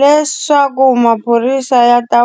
Leswaku maphorisa ya ta